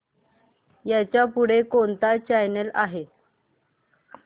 ह्याच्या पुढे कोणता चॅनल आहे